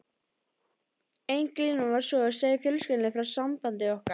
Ein glíman var sú að segja fjölskyldunni frá sambandi okkar.